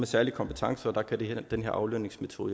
særlige kompetencer og der kan den her aflønningsmetode